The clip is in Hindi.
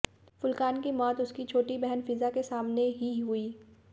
फुरकान की मौत उसकी छोटी बहन फिज़ा के सामने ही हुई